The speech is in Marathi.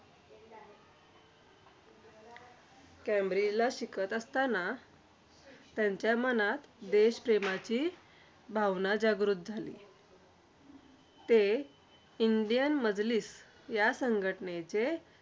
केंब्रिजला शिकत असतांना, त्यांच्या मनात देशप्रेमाची भावना जागृत झाली. ते इंडियन मदलीफ या संघटनेचे